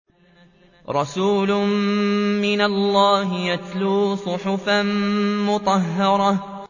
رَسُولٌ مِّنَ اللَّهِ يَتْلُو صُحُفًا مُّطَهَّرَةً